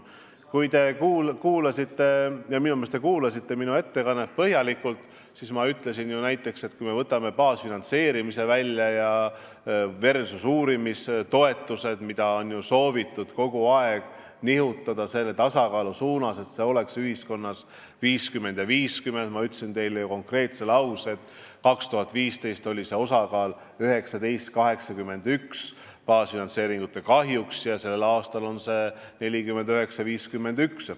Kui te kuulasite – ja minu meelest te kuulasite – minu ettekannet põhjalikult, siis te teate, et ma ütlesin ju näiteks, et kui me võtame baasfinantseerimise versus uurimistoetused, siis on kogu aeg soovitud nihkumist tasakaalu suunas, et see oleks 50 : 50, aga ma ütlesin teile konkreetse lause, et 2015 oli see osakaal 19 : 81 baasfinantseeringute kahjuks ja sellel aastal on see 49 : 51.